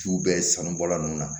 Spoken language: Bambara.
Ciw bɛ sanubɔla ninnu na